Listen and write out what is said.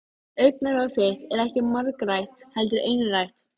Hana dreymdi að Mangi kæmi til hennar.